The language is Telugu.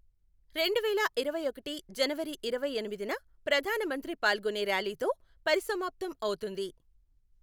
రెండువేల ఇరవై ఒకటి జనవరి ఇరవై ఎనిమిదిన ప్రధాన మంత్రి పాల్గొనే ర్యాలీతో పరిసమాప్తం అవుతుంది.